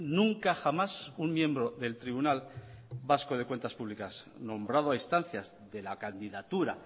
nunca jamás un miembro del tribunal vasco de cuentas públicas nombrado a instancias de la candidatura